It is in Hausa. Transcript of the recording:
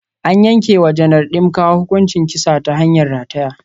An yanke wa Janar Dimka hukuncin kisa ta hanyar rataya.